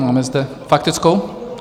Máme zde faktickou?